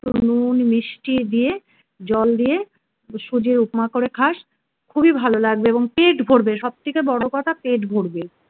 নুন মিষ্টি দিয়ে জল দিয়ে সুজির উপমা করে খাস খুবই ভালো লাগবে এবং পেট ভরবে সব থেকে বড় কথা পেট ভরবে